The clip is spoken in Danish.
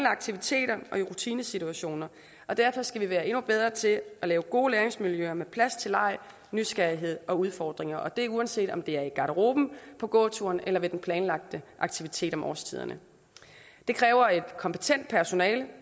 aktiviteter og i rutinesituationer derfor skal vi være endnu bedre til at lave gode læringsmiljøer med plads til leg nysgerrighed og udfordringer og det er uanset om det er i garderoben på gåturen eller ved den planlagte aktivitet om årstiderne det kræver et kompetent personale